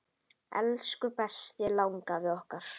Elsku besti langafi okkar.